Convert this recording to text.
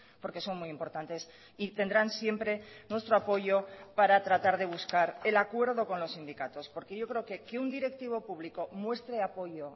porque son muy importantes y tendrán siempre nuestro apoyo para tratar de buscar el acuerdo con los sindicatos porque yo creo que que un directivo público muestre apoyo